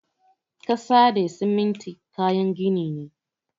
Ƙasa da siminti kayan gini ne.